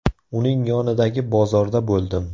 Uning yonidagi bozorda bo‘ldim.